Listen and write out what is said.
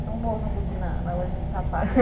Então vamos voltar um pouquinho na na loja de sapatos.